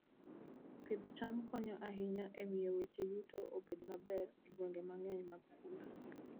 Pidh cham konyo ahinya e miyo weche yuto obed maber e gwenge mang'eny mag pur.